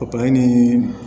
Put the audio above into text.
ni